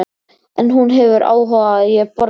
En hún hefur áhuga á að ég borði vel.